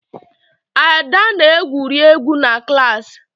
Ada na-egwuri egwu na klaasị.